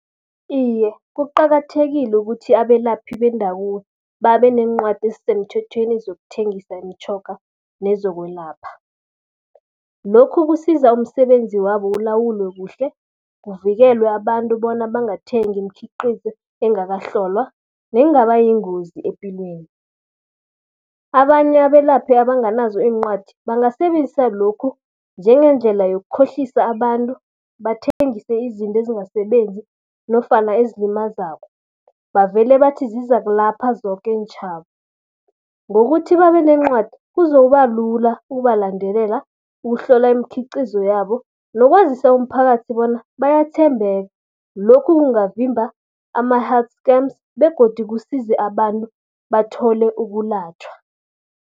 Iye, kuqakathekile ukuthi abelaphi bendabuko babe neencwadi ezisemthethweni zokuthengisa imtjhoga nezokwelapha. Lokhu kusiza umsebenzi wabo ulawulwe kuhle, kuvikelwe abantu bona bangathengi imkhiqizo engakahlolwa nengaba yingozi epilweni. Abanye abelaphi abanganazo iincwadi, bangasebenzisa lokhu njengendlela yokukhohlisa abantu, bathengise izinto ezingasebenzi nofana ezilimazako. Bavele bathi zizakulapha zoke iintjhaba. Ngokuthi babe neencwadi kuzokuba lula ukubalandelela, ukuhlola imikhiqizo yabo nokwazisa umphakathi bona bayathembeka. Lokhu kungavimba ama-hard scams begodu kusize abantu bathole ukulatjhwa.